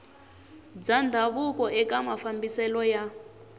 bya ndhavuko eka mafambiselo ya